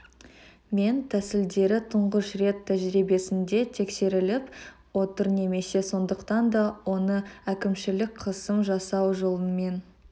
мен тәсілдері тұңғыш рет тәжірибесінде тексеріліп отыр немесе сондықтан да оны әкімшілік қысым жасау жолымен